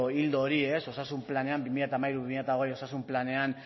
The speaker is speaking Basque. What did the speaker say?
ildo hori osasun planean bi mila hamairu bi mila hogei osasun planean